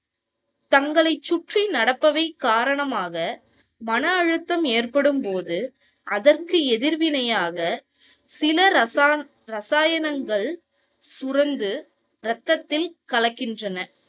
தங்களை சுற்றி நடப்பவை காரணமாக மன அழுத்தம் ஏற்படும் போது அதற்கு எதிர் வினையாக சில இரசா~ இரசாயனங்கள் சுரந்து ரத்ததில் கலக்கின்றன.